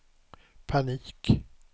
panik